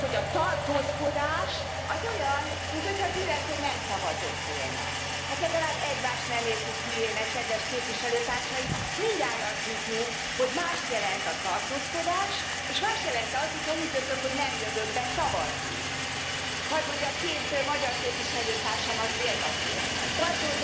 Monsieur le Président, cela fait 30 ans que je suis dans cette institution, et je dois dire que je suis toujours étonné par ce qu'elle propose,